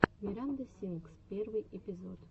миранда сингс первый эпизод